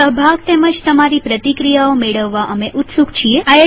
તમારો સહભાગ તેમજ તમારી પ્રતિક્રિયાઓ મેળવવા અમે ઉત્સુક છીએ